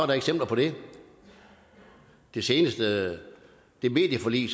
der eksempler på det det seneste medieforlig